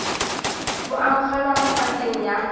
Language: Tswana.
bo amogelwa mo pakeng ya